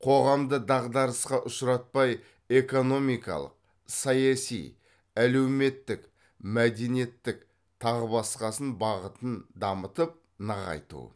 қоғамды дағдарысқа ұшыратпай экономикалық саяси әлеуметтік мәдениеттік тағы басқасын бағытын дамытып нығайту